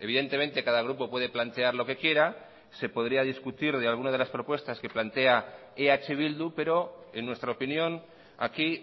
evidentemente cada grupo puede plantear lo que quiera se podría discutir de alguna de las propuestas que plantea eh bildu pero en nuestra opinión aquí